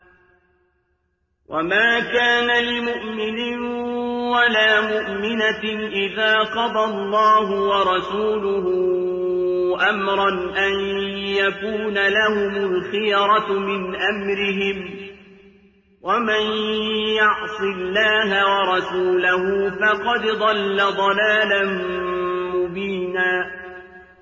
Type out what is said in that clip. وَمَا كَانَ لِمُؤْمِنٍ وَلَا مُؤْمِنَةٍ إِذَا قَضَى اللَّهُ وَرَسُولُهُ أَمْرًا أَن يَكُونَ لَهُمُ الْخِيَرَةُ مِنْ أَمْرِهِمْ ۗ وَمَن يَعْصِ اللَّهَ وَرَسُولَهُ فَقَدْ ضَلَّ ضَلَالًا مُّبِينًا